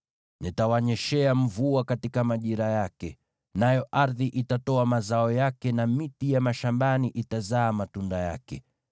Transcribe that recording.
nitawanyeshea mvua katika majira yake, nayo ardhi itatoa mazao yake, na miti ya mashambani itazaa matunda yake.